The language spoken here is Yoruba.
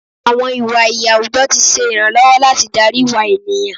Àwọn ìwà iyì àwùjọ ti ṣe ìrànlọ́wọ́ láti darí ìwà ènìyàn.